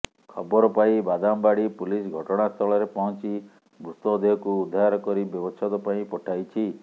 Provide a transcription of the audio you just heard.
ଖବର ପାଇ ବାଦାମବାଡ଼ି ପୁଲିସ୍ ଘଟଣାସ୍ଥଳରେ ପହଞ୍ଚି ମୃତଦେହକୁ ଉଦ୍ଧାର କରି ବ୍ୟବଚ୍ଛେଦ ପାଇଁ ପଠାଇଛି